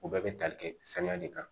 U bɛɛ bɛ tali kɛ saniya de kan